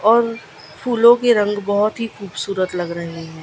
और फूलों के रंग बहोत ही खूबसूरत लग रहे हैं।